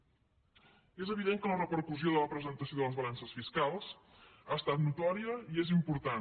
és evident que la re·percussió de la presentació de les balances fiscals ha estat notòria i és important